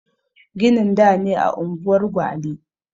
Ginin da ne a unguwar gwale